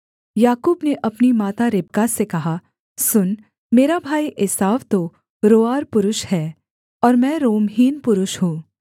याकूब ने अपनी माता रिबका से कहा सुन मेरा भाई एसाव तो रोंआर पुरुष है और मैं रोमहीन पुरुष हूँ